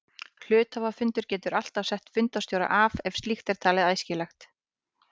Hluthafafundur getur alltaf sett fundarstjóra af ef slíkt er talið æskilegt.